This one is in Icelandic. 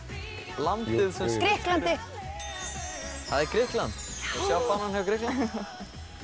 landið sem Grikklandi það er Grikkland sjá fánann hjá Grikkjum þetta